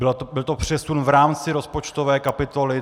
Byl to přesun v rámci rozpočtové kapitoly.